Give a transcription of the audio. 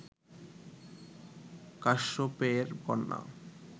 কাশ্যপেয়ের কন্যা